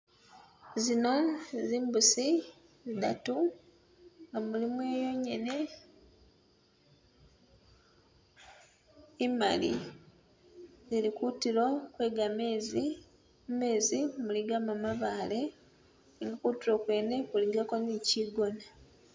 Zino zimbusi zidatu nga mulimu yonyene imali zili kutulo kwe gamezi, mumezi muligamu mabaale, ne kutulo kwene kuligako ni kigona.